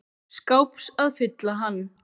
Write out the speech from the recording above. skáps að fylla hann.